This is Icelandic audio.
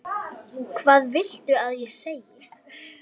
Hvað viltu ég segi?